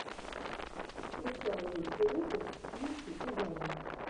включай лучший выпуск ники и габи